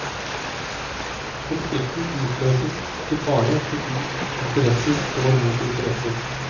Konflikten utløses ikke bare fordi interesser står mot interesser.